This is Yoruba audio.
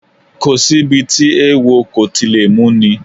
Kò sí ibi tí eewo kò ti lè múni